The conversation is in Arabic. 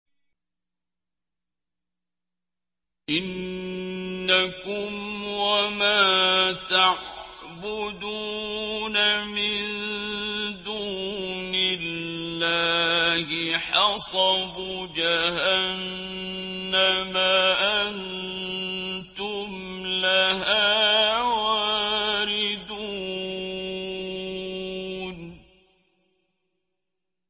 إِنَّكُمْ وَمَا تَعْبُدُونَ مِن دُونِ اللَّهِ حَصَبُ جَهَنَّمَ أَنتُمْ لَهَا وَارِدُونَ